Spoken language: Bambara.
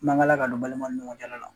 Mangala ka don balima ni ɲɔgɔncɛla la.